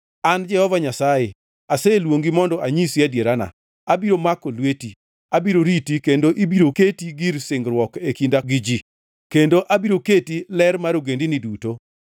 “An Jehova Nyasaye, aseluongi mondo anyisi adierana; abiro mako lweti. Abiro riti kendo ibiro keti gir singruok e kinda gi ji kendo abiro keti ler mar ogendini duto,